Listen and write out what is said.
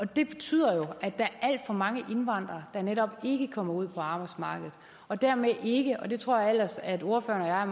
det betyder jo at der er alt for mange indvandrere der netop ikke kommer ud på arbejdsmarkedet og dermed ikke og det tror jeg ellers at ordføreren og jeg